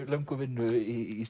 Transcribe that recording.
löngu vinnu í